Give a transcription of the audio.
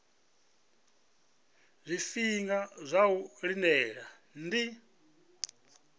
zwifhinga zwa u lindela ndi